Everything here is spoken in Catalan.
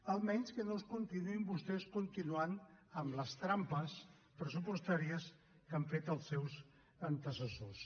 almenys que no ens continuïn vostès continuant amb les trampes pressupostàries que han fet els seus antecessors